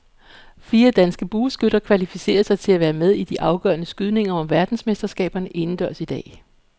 Fire danske bueskytter kvalificerede sig til at være med i de afgørende skydninger om verdensmesterskaberne indendørs i dag.